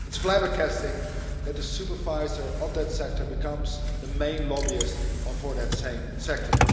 It's flabbergasting that the supervisor of that sector becomes the main lobbyist for that same sector.